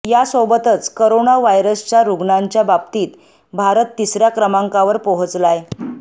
यासोबतच करोना व्हायरसच्या रुग्णांच्या बाबतीत भारत तिसऱ्या क्रमांकावर पोहचलाय